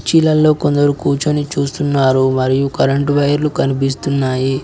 చైర్లల్లో కొందరు కూర్చొని చూస్తున్నారు మరియు కరెంటు వైర్లు కనిపిస్తున్నాయి